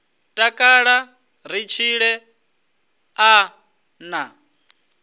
takala ri tshile a na